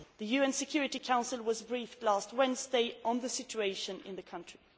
The UN Security Council was briefed last Wednesday on the situation in the country.